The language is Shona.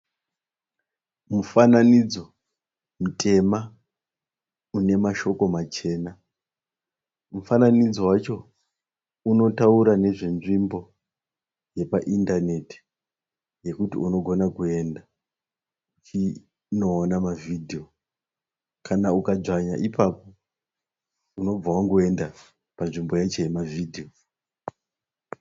Mufananidzo mutema unemashoko machena. Mufananidzo wacho unotaura nezvenzvimbo yepa internet yokuti unogona kuenda uchinoona mavideo. Kana ukadzvanya ipapo unobva wangoenda panzvimbo yacho yemavideo.